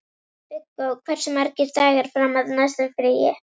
Viggó, hversu margir dagar fram að næsta fríi?